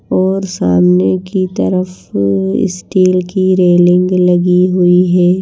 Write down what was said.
और सामने की तरफ स्टील की रेलिंग लगी हुई है।